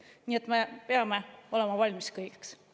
Nii et me peame olema valmis kõigeks.